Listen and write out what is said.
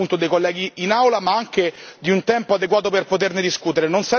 dei colleghi in Aula ma anche di un tempo adeguato per poterne discutere.